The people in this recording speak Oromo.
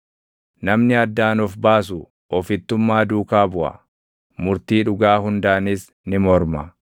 Namni addaan of baasu ofittummaa duukaa buʼa; murtii dhugaa hundaanis ni morma.